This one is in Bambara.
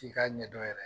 K'i k'a ɲɛdɔn yɛrɛ